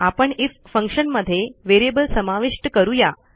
आपणIF function मध्ये variable समाविष्ट करू या